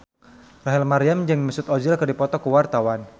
Rachel Maryam jeung Mesut Ozil keur dipoto ku wartawan